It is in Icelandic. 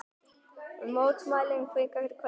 Mótmælendur hvika hvergi